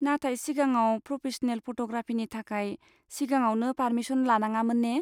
नाथाय सिगाङाव प्र'फेसनेल फट'ग्राफिनि थाखाय सिगाङावनो पारमिसन लानाङामोन ने?